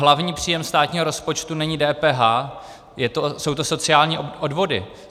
Hlavní příjem státního rozpočtu není DPH, jsou to sociální odvody.